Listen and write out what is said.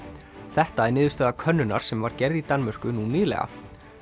þetta er niðurstaða könnunar sem var gerð í Danmörku nú nýlega